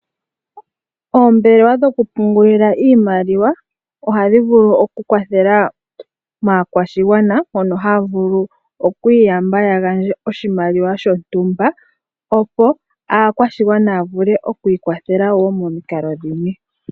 Oombelewa dhokupungulila iimaliwa ohadhi vulu okukwathela maakwashigwana mono haya vulu okwiiyamba ya gandje oshimaliwa shontumba opo aakwashigwana ya vule okwiikwathela wo mimikalo dhimwe.